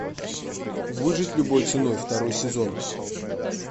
выжить любой ценой второй сезон